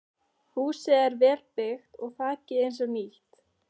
Húsið er vel byggt og þakið eins og nýtt.